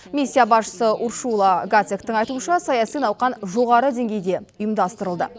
миссия басшысы уршула гацектің айтуынша саяси науқан жоғары деңгейде ұйымдастырылды